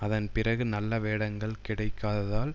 அதன் பிறகு நல்ல வேடங்கள் கிடைக்காததால்